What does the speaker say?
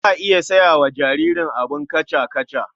Za a iya saya wa jaririn abin kaca-kaca.